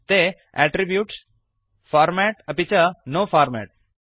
ते attributes format अपि च नो फॉर्मेट्